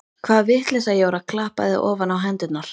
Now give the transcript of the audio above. Hvaða vitleysa Jóra klappaði ofan á hendurnar.